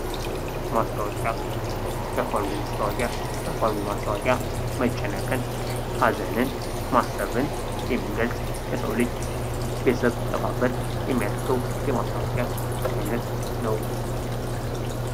ማስታወቂያ ያፋልጉኝ ማስታወቂያ የአፋልጉኝ ማስታወቂያ መጨነቅን፣ ማሰብን የሚገልጽ የሰው ልጅ ቤተሰብ ሲጠፋበት የሚያደርገው የማስታወቂያ አይነት ነው።